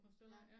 Ja ja